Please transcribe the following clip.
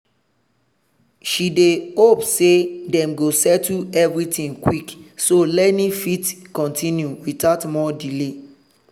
she dey hope say dem go settle everything quick so learning fit continue without more delay.